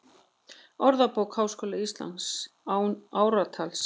Orðabók Háskóla Íslands, án ártals.